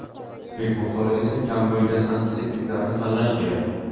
spirt miqdori esa kam bo‘lgan antiseptiklarni tanlash kerak.